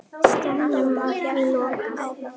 Staðnum var því lokað.